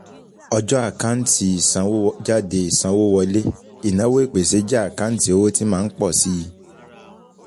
Ọjọ́ àkáǹtì ìsanwójáde ìsanwówọlé, ìnáwó ìpèsè jẹ́ àkáǹtì owó tí máa ń pọ̀ síi.